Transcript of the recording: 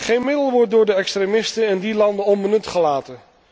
Geen middel wordt door de extremisten in die landen onbenut gelaten.